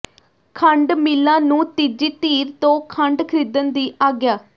ਖੰਡ ਮਿੱਲਾਂ ਨੂੰ ਤੀਜੀ ਧਿਰ ਤੋਂ ਖੰਡ ਖਰੀਦਣ ਦੀ ਆਗਿਆ